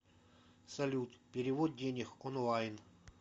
салют перевод денег онлайн